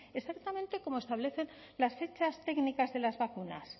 exactamente como establecen las fechas técnicas de las vacunas